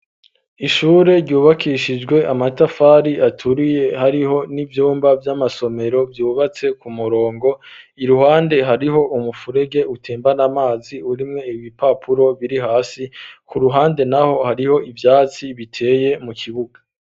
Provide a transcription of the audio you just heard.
ishure ryubakishijwe amatafari aturiye hariho n'ivyumba vy'amasomero vyubatse ku murongo,, iruhande hariho umufurege utembana amazi urimwe ibipapuro biri hasi, ku ruhande naho hariho ivyatsi biteye mu kibuga.